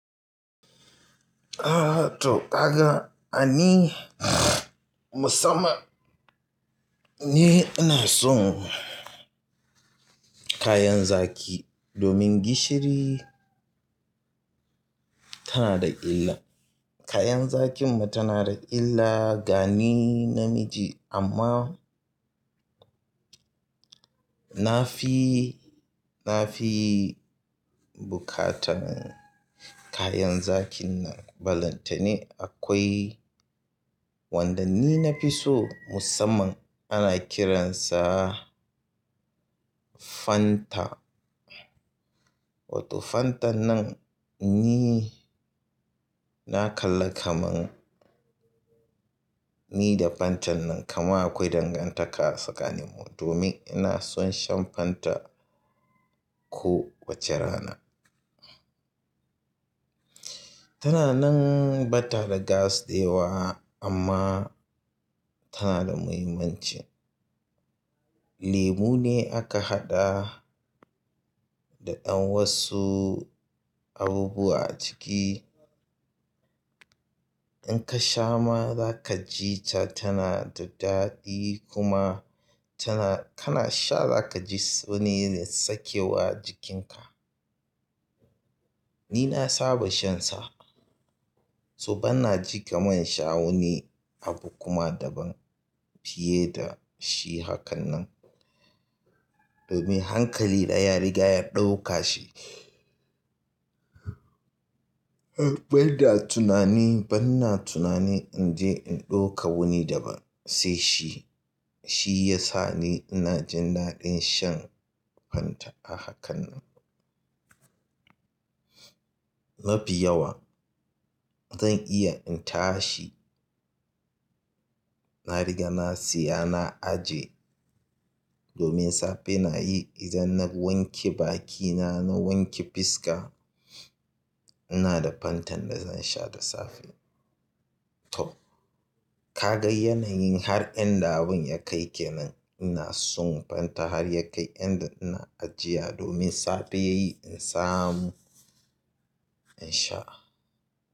Ah to ka ga ani musamman ni ina son kayan zaƙi domin gishiri tana da illa. Kayan zaƙin mu tana da illa gani na miji amma na fi, na fi buƙatan kayan zaƙin nan. Balantane akwai wanda ni na fi so musamman ana kiransa Fanta. Wato Fantan nan ni na kalla kaman ni da Fantan nan kaman akwai dangantaka tsakanin mu domin ina son shan Fanta ko wace rana. Tana nan ba ta da gas dayewa amma tana da muhimmanci. Lemu ne aka haɗa da ɗan wasu abubuwa a ciki. In ka sha ma za ka ji ta tana da daɗi kuma tana-- kana sha za ka ji wani sakewa a jikinka. Ni na saba shan sa, to ban na ji kamun sha wani abu kuma daban fiye da shi hakan nan. Domin hankali ɗaya rigaya ɗauka shi. Bai da tunani, ban na tunani in je in ɗauka wani daba sai shi, shi ya sa ni ina jin daɗin shan Fanta a hakan nan. Na fi yawa zan iya in tashi, na riga na siya, na ajiye. Domin safe na yi idan na wanke bakina, na wanke fiska ina da Fantan da zan sha da safe. To ka ga yanayin har inda abin ya kai kenan. Ina son Fanta har ya kai inda ina ajiya domin safe yayi in samu in sha.